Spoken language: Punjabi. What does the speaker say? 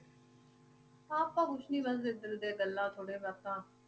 ਆਪਾਂ ਕੁਛ ਨੀ ਬਸ ਇੱਧਰ ਦੀਆਂ ਗੱਲਾਂ ਥੋੜ੍ਹੇ ਬਾਤਾਂ